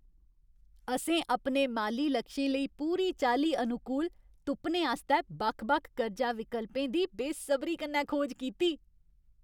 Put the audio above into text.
असें अपने माली लक्षें लेई पूरी चाल्ली अनुकूल तुप्पने आस्तै बक्ख बक्ख कर्जा विकल्पें दी बेसबरी कन्नै खोज कीती।